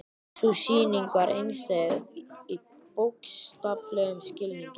Sú sýning var einstæð í bókstaflegum skilningi.